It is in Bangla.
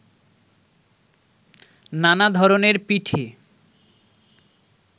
নানা ধরনের পিঠে